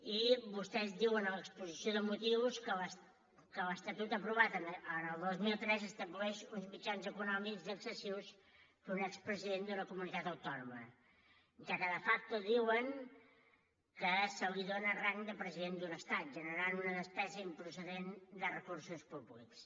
i vostès diuen a l’exposició de motius que l’estatut aprovat el dos mil tres estableix uns mitjans econòmics excessius per a un expresident d’una comunitat autònoma ja que de facto diuen que se li dóna rang de president d’un estat i es genera una despesa improcedent de recursos públics